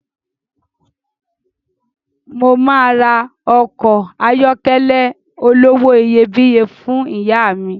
Mo máa ra ọkọ̀ ayọ́kẹ́lẹ̀ olówó iyebíye fún ìyá mi